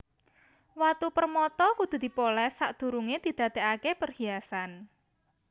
Watu permata kudu dipolès sadurungé didadèkaké perhiasan